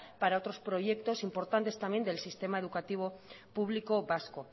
para otros proyectos importantes también del sistema educativo público vasco